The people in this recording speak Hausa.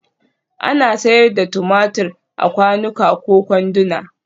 Ana sayar da tumatur a kwanuka da kwanduna